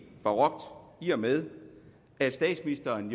barokt i og med at statsministeren